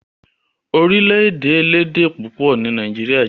Orílè-èdè elédè púpọ̀ ni nàìjíría jẹ́.